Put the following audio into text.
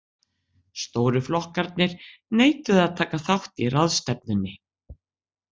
Stóru flokkarnir neituðu að taka þátt í ráðstefnunni.